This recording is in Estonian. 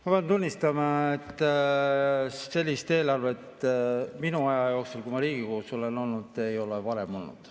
Ma pean tunnistama, et sellist eelarvet selle aja jooksul, kui mina Riigikogus olen olnud, ei ole varem olnud.